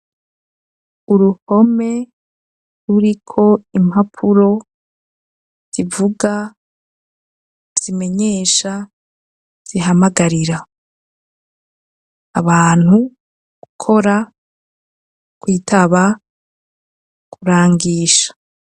uruhome ruriko impapuro, zivuga , zimenyesha , zihamagarira; abantu gukora, kwitaba, kurangisha.